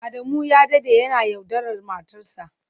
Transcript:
Adamu ya dade yana yaudarar matarsa.